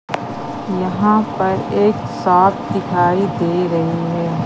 यहां पर एक साथ दिखाई दे रही है।